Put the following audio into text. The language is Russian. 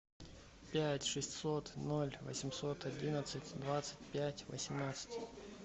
пять шестьсот ноль восемьсот одиннадцать двадцать пять восемнадцать